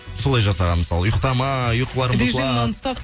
солай жасаған мысалы ұйқтамай ұйқыларың бұзылады режим нон стоп